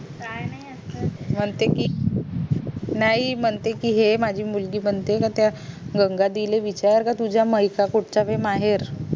काय नाय असच म्हणते कि नई म्हणते कि हे माझी मुलगी म्हणते म्हणते गंगा दीदी ला विचार का तुझा मैसा कुठचा महेर